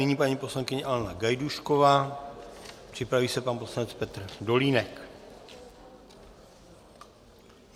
Nyní paní poslankyně Alena Gajdůšková, připraví se pan poslanec Petr Dolínek.